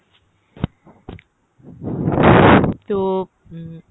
তো উম